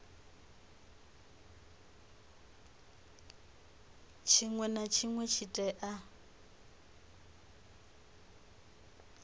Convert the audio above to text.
tshinwe na tshinwe tshi tea